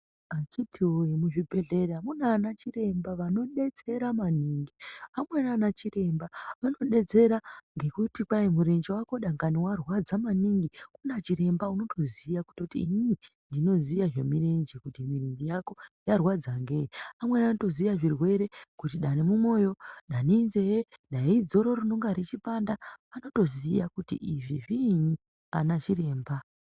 Akiti woye ,muzvibhehleya munaana chiremba vanodetsera maningi, amweni anachiremba anodetsera ngekuti kwai murenje wako dangani warwadza maningi kuna chiremba unotziya kuti inini ndinoziya zvemirenje, kuti mirenje yako yarwadza ngei, amweni anotoziya zvirwere kuti dani mumoyo, dani inzee, dani idzoro rinonga reipanda, anotoziya kuti izvi zviinyi, anaChiremba.